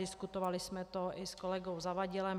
Diskutovali jsme to i s kolegou Zavadilem.